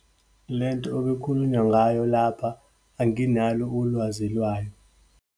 Lento okwekhulunywa ngayo lapha, anginalo ulwazi lwayo.